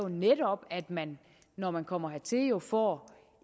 netop at man når man kommer hertil får